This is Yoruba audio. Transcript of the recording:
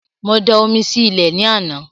Mo da omi sí ilẹ̀ ní àná